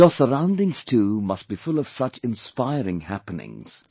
Your surroundings too must be full of such inspiring happenings